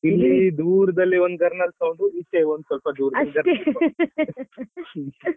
ಹೌದು ಹೌದು ಇಲ್ಲಿ ದೂರದಲ್ಲಿ ಒಂದ್ ಗರ್ನಾಲ್ sound ಈಚೆ ಒಂದ್ ಸ್ವಲ್ಪ ದೂರದಲ್ಲಿ ಒಂದು ಗರ್ನಾಲ್ sound .